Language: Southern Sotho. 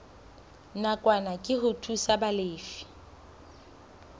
nakwana ke ho thusa balefi